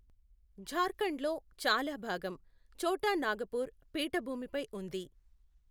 జార్ఖండ్ లో చాలా భాగం ఛోటా నాగపూర్ పీఠభూమిపై ఉంది.